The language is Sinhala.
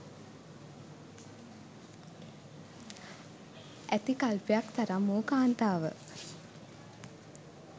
ඇති අල්පයක් තරම් වූ කාන්තාව